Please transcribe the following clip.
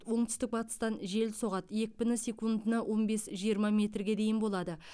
оңтүстік батыстан жел соғады екпіні секундына он бес жиырма метрге дейін болады